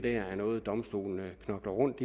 er noget domstolene knokler rundt